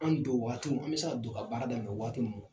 An donwaatiw an bɛ se don ka baara daminɛ waati min